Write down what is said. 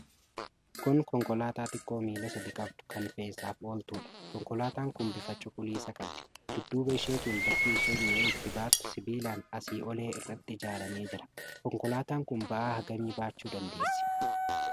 Kun konkolaataa xiqqoo miila sadi qabdu kan fe'iisaaf ooltudha. Konkolaataan kun bifa cuquliisa qabdi. Dudduuba isheetiin bakki isheen mi'a itti baattu sibiilaan asii olee irratti ijaaramee jira. Konkolaataan kun ba'aa hagamii baachuu dandeessi?